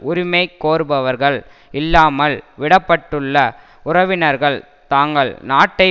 உரிமை கோருபவர்கள் இல்லாமல் விட பட்டுள்ள உறவினர்கள் தாங்கள் நாட்டை